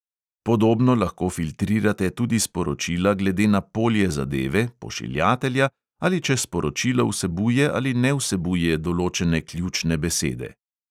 Podobno lahko filtrirate tudi sporočila glede na polje zadeve, pošiljatelja, ali če sporočilo vsebuje ali ne vsebuje določene ključne besede.